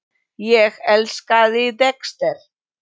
Ég elskaði Dexter.